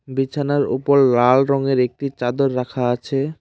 বিছানার উপর লাল রঙের একটি চাদর রাখা আছে।